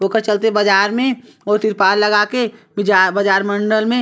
ओकर चलते बाजार मे ओ तिरपाल लगा के बाजार मंडल मे--